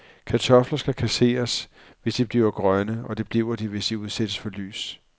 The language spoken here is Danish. Kartofler skal kasseres, hvis de bliver grønne, og det bliver de, hvis de udsættes for lys.